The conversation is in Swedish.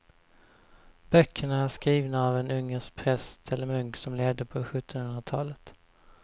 Böckerna är skrivna av en ungersk präst eller munk som levde på sjuttonhundratalet.